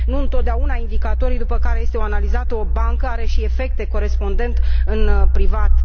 Nu întotdeauna indicatorii după care este analizată o bancă au și efecte corespondente în privat.